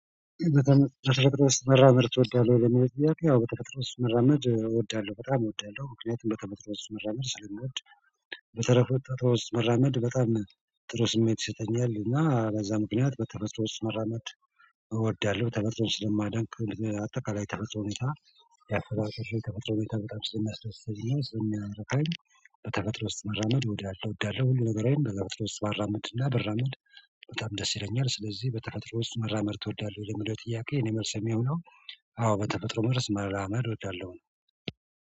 በተፈጥሮ ውስጥ መራመድ ትወዳለህ ወይ? ለሚለው ጥያቄ ያው በተፈጥሮ ዉስጥ መራመድ እወዳለሁ በጣም እወዳለሁ ምክንያቱም በተፈጥሮ ውስጥ መራመድ ስለምወድ በተረፈ ተፈጥሮ ውስጥ መራመድ በጣም ጥሩ ስሜት ይሰጠኛል እና በዛ ምክንያት በተፈጥሮ ውስጥ መራመድ እወዳለሁ ተፈጥሮን ስለማደንቅ አጠቃላይ የተፈጥሮ ሁኔታ ያሰባበት የተፈጥሮ ሁኔታ በጣም ስለሚያስደስተኝ እና ስለሚያረካኝ በተፈጥሮ ውስጥ መራመድ እወዳለሁ ሁሉ ነገሬን በተፈጥሮ ውስጥ ባራምድ እና ብራመድ በጣም ደስ ይለኛል ስለዚህ በተፈጥሮ ውስጥ መራመድ ትወዳለህ ለሚለው ጥያቄ እኔ መልሴ የሚሆነው አዎ በተፈጥሮ ውስጥ መራመድ እወዳለው ነው።